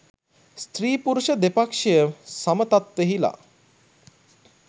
ස්ත්‍රී, පුරුෂ දෙපක්‍ෂය සම තත්ත්වයෙහි ලා